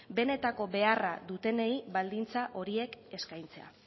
benetako beharra dutenei baldintza horiek eskaintzea